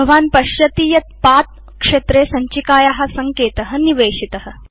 भवान् पश्यति यत् पथ क्षेत्रे सञ्चिकाया सङ्केत निवेशित